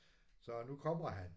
Så nu kommer han